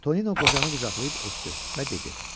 Tonino qocanı qucaqlayıb öptü və dedi: